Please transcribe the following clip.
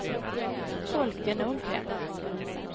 Folke Nordgren